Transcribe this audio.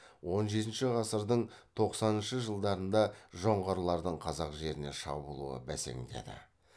он жетінші ғасырдың тоқсаныншы жылдарда жоңғарлардың қазақ жеріне шабуылы бәсеңдеді